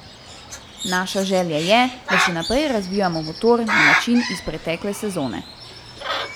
Naša želja je, da še naprej razvijamo motor na način iz pretekle sezone.